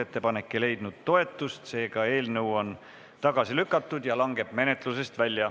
Ettepanek ei leidnud toetust, seega eelnõu on tagasi lükatud ja langeb menetlusest välja.